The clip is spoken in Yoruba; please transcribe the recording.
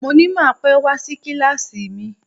Mo ní má pẹ́ wá sí kíláàsì mi